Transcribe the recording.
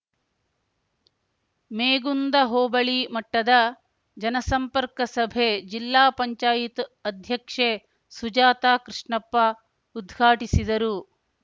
ಮೇಗುಂದ ಹೋಬಳಿ ಮಟ್ಟದ ಜನಸಂಪರ್ಕ ಸಭೆ ಜಿಲ್ಲಾ ಪಂಚಾಯಿತ್ ಅಧ್ಯಕ್ಷೆ ಸುಜಾತ ಕೃಷ್ಣಪ್ಪ ಉದ್ಘಾಟಿಸಿದರು